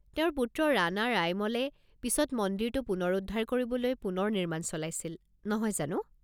তেওঁৰ পুত্ৰ ৰাণা ৰায়মলে পিছত মন্দিৰটো পুনৰুদ্ধাৰ কৰিবলৈ পুনৰ নিৰ্মাণ চলাইছিল, নহয় জানো?